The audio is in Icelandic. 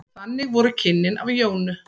Þannig voru kynnin af Jónu.